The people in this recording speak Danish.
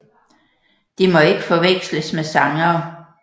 De må ikke forveksles med sangere